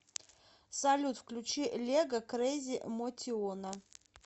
салют включи лего крейзи мотиона